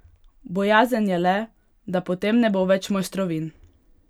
Bojazen je le, da potem ne bo več mojstrovin!